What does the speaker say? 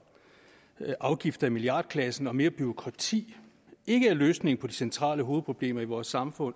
afgifter i milliardklassen og mere bureaukrati ikke er løsningen på de centrale problemer i vores samfund